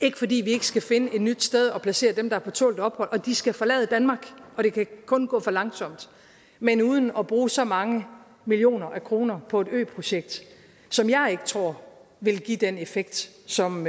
ikke fordi vi ikke skal finde et nyt sted at placere dem der er på tålt ophold og de skal forlade danmark og det kan kun gå for langsomt men uden at bruge så mange millioner af kroner på et øprojekt som jeg ikke tror vil give den effekt som